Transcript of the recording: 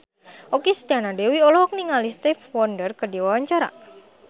Okky Setiana Dewi olohok ningali Stevie Wonder keur diwawancara